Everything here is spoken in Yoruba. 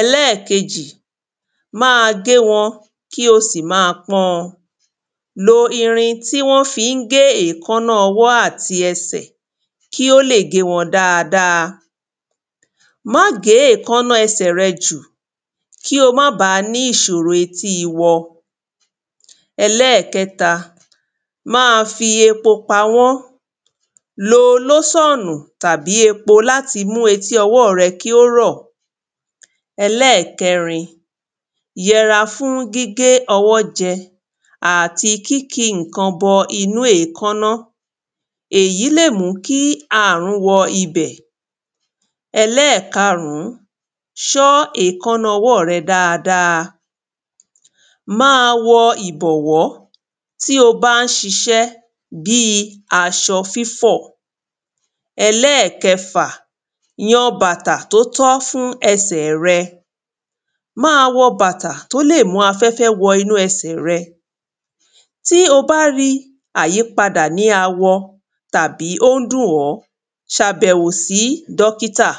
ẹlẹ́ẹ̀kejì máa gé wọn kí o sì máa pọ́n ọn Lo irin tí wón fi gé èkáná ọwọ́ àti ẹsẹ̀ kí ó lè gé wọn dáadáa, má gè èkáná ẹsẹ̀ rẹ jù kí o má ní ìṣòro etí awọ ẹlẹ́ẹ̀kẹta máa fi epo pawọ́, lo lóṣọ̀nù tàbí epo láti mu eti ọwọ́ rẹ kí ó rọ̀ ẹlẹ́ẹ̀kẹrin: yẹra fún gígé ọwọ́ jẹ àti kíkí ǹkan bọ inú èkáná èyí lè mú kí àrùn wọ bẹ̀, ẹlẹ́ẹ̀kerin ṣọ́ èkáná ọwọ́ dáadáa máa wọ ìbọ̀wọ́ tí ó bá ń ṣiṣẹ́ bíi aṣọ fífọ̀, ẹlẹ́ẹ̀kẹfà yan bàtà tó tọ́ fún esè rẹ má wọ bàtà tí ó lè mú afẹ́fẹ́ wọ inú ẹsẹ̀ rẹ, tí ó bá rí àyípadà ní awọ tàbí ó ń dùn ọ, ṣe àbẹ̀wò sí dọ́kìtà